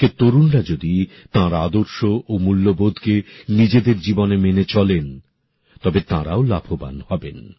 আজকের তরুণরা যদি তার আদর্শ ও ম্যূল্যবোধকে নিজেদের জীবনে মেনে চলেন তবে তারাও লাভবান হবেন